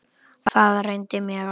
Það reyndi mjög á.